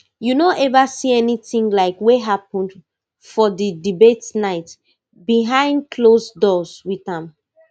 you no ever see anything like wey happen for di debate night behind closed doors with am